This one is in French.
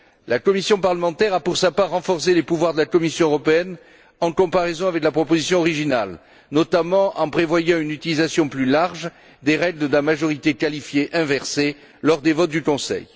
La commission parlementaire a, pour sa part, renforcé les pouvoirs de la Commission européenne en comparaison avec la proposition originale, notamment en prévoyant une utilisation plus large des règles de la majorité qualifiée inversée lors des votes du Conseil.